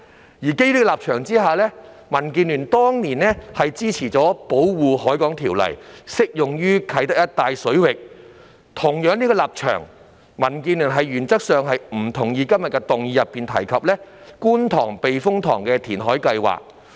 基於這個立場，民建聯當年支持《條例》適用於啟德一帶水域；基於相同的立場，民建聯原則上不同意今天議案內提及的觀塘避風塘填海計劃。